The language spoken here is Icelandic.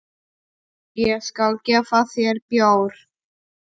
Ég skal gefa þér bjór.